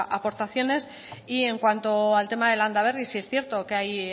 aportaciones y en cuanto al tema de landaberri sí es cierto que hay